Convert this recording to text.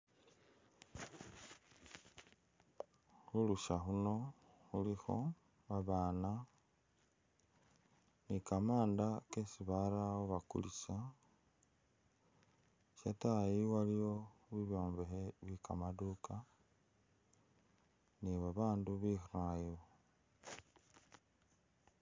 Khulusha khuno khulikho babaana ni kamanda kesi barawo bakulisa shatayi waliwo bibyombekhe byekamaduka ni babandu bekhale wo